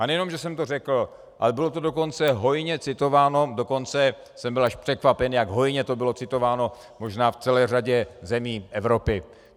A nejen že jsem to řekl, ale bylo to dokonce hojně citováno, dokonce jsem byl až překvapen, jak hojně to bylo citováno možná v celé řadě zemí Evropy.